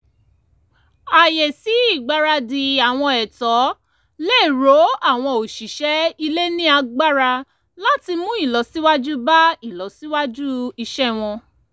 ààyè sí ìgbaradì àwọn ètò le ró àwọn òṣìṣẹ́ ilé ní agbára láti mú ìlọsíwájú bá ìlọsíwájú iṣẹ́ wọn